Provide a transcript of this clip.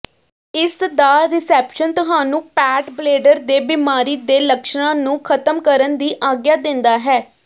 ਇਸਦਾ ਰਿਸੈਪਸ਼ਨ ਤੁਹਾਨੂੰ ਪੈਟਬਲੇਡਰ ਦੇ ਬਿਮਾਰੀ ਦੇ ਲੱਛਣਾਂ ਨੂੰ ਖਤਮ ਕਰਨ ਦੀ ਆਗਿਆ ਦਿੰਦਾ ਹੈ